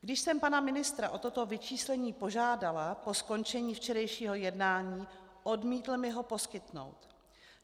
Když jsem pana ministra o toto vyčíslení požádala po skončení včerejšího jednání, odmítl mi ho poskytnout.